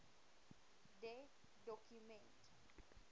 de doku ment